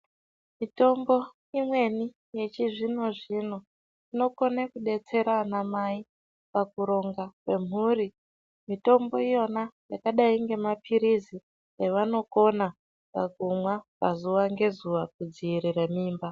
Mitombo imweni yechizvino-zvino inokona kudetsera anamai pakurongwa kwemhuri. Mitombo iyona yakadai ngemaphiritsi evanokona kumwa pazuva ngezuva kudziirire mimba.